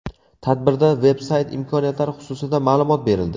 Tadbirda veb-sayt imkoniyatlari xususida ma’lumot berildi.